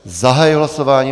Zahajuji hlasování.